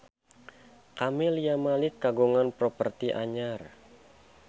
Camelia Malik kagungan properti anyar